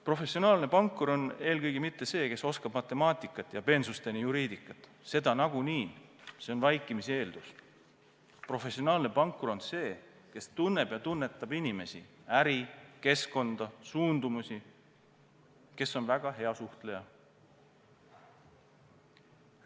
Professionaalne pankur ei ole eelkõige mitte inimene, kes teab matemaatikat ja peensusteni juriidikat – seda nagunii, see on vaikimisi eeldus –, vaid professionaalne pankur on inimene, kes tunneb ja tunnetab inimesi, äri, keskkonda, suundumusi, kes on väga hea suhtleja.